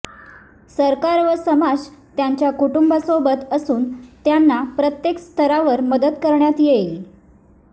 सरकार व समाज त्यांच्या कुटुंबासोबत असून त्यांना प्रत्येक स्तरावर मदत करण्यात येईल